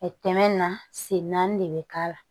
Ɛɛ tɛmɛ na sen naani de bɛ k'a la